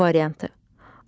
A variantı.